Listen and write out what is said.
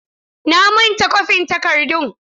Na manta kwafin takardun.